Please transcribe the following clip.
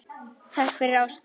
Takk fyrir ástina.